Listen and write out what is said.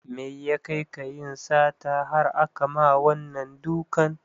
Mai ya kai ka yin sata har akama wannan dukan?